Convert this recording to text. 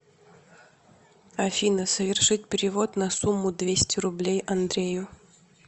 афина совершить перевод на сумму двести рублей андрею